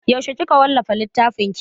Yaushe kika wallafa littfin ki?